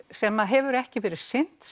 sem hefur ekki verið sinnt